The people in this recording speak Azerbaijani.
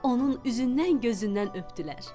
Onun üzündən gözündən öpdülər.